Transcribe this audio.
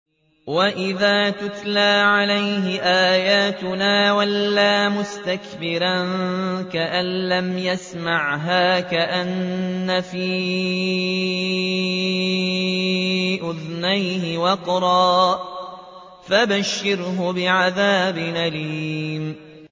وَإِذَا تُتْلَىٰ عَلَيْهِ آيَاتُنَا وَلَّىٰ مُسْتَكْبِرًا كَأَن لَّمْ يَسْمَعْهَا كَأَنَّ فِي أُذُنَيْهِ وَقْرًا ۖ فَبَشِّرْهُ بِعَذَابٍ أَلِيمٍ